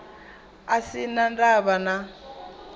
a sin a ndavha na